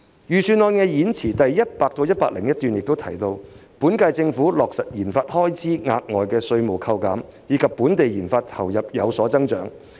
預算案演辭第100至101段提到，現屆政府已落實為研發開支提供額外稅務扣減，令本地研發投入有所增長。